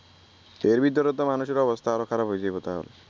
এর ভিতর তো মানুষের অবস্থা আরো খারাপ হয় যাইবো তাইলে